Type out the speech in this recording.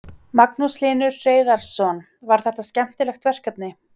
Magnús Hlynur Hreiðarsson: Var þetta skemmtilegt verkefni?